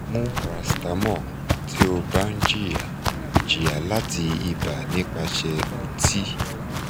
mu paracetamol ti o ba n jiya jiya lati iba nipase uti